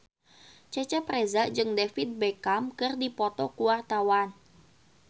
Cecep Reza jeung David Beckham keur dipoto ku wartawan